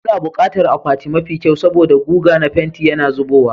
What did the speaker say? Muna buƙatar akwati mafi kyau saboda guga na fenti yana zubowa,